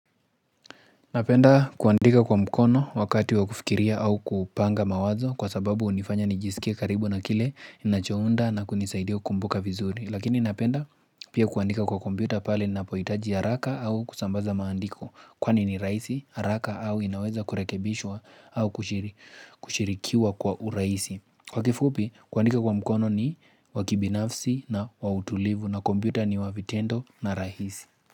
Napenda kuandika kwa mkono wakati wa kufikiria au kupanga mawazo kwa sababu unifanya nijisikie karibu na kile ninachounda na kunisaidia kumbuka vizuri. Lakini napenda pia kuandika kwa kompyuta pale napohitaji haraka au kusambaza maandiko. Kwani ni raisi haraka au inaweza kurekebishwa au kushirikiwa kwa uraisi. Kwa kifupi kuandika kwa mkono ni wa kibinafsi na wautulivu na kompyuta ni wa vitendo na rahisi.